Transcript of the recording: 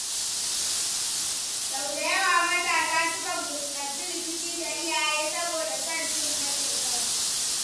Sau da yawa matasa sukan fuskanci rikici da iyaye saboda son cin gashin kansu.